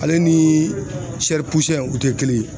Ale ni o te kelen ye.